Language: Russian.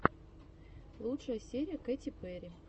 лучшая серия кэти перри